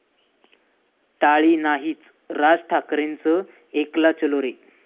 टाळी' नाहीच, राज ठाकरेंचं 'एकला चलो रे'